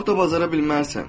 Çox da bacara bilməzsən.